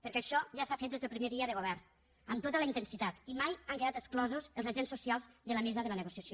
perquè això ja s’ha fet des del primer dia de govern amb tota la intensitat i mai han quedat exclosos els agents socials de la mesa de la negociació